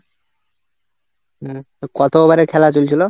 হম তো কত over এর খেলা চলছিল?